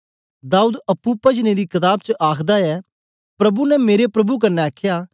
दाऊद अप्पुं पजने दी कताब च आखदा ऐ प्रभु ने मेरे प्रभु क्न्ने आखया